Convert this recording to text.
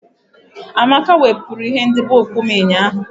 Amaka wepụrụ ihe ndobe okpu m ụnyahụ